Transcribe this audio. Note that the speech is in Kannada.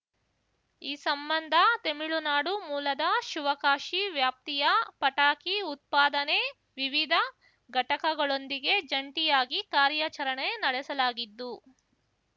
ಈ ಸಂಬಂಧ ತೆಮಿಳುನಾಡು ಮೂಲದ ಶಿವಕಾಶಿ ವ್ಯಾಪ್ತಿಯ ಪಟಾಕಿ ಉತ್ಪಾದನೆ ವಿವಿಧ ಘಟಕಗಳೊಂದಿಗೂ ಜಂಟಿಯಾಗಿ ಕಾರ್ಯಾಚರಣೆ ನಡೆಸಲಾಗಿದ್ದು